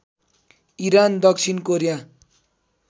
Iran दक्षिण Korea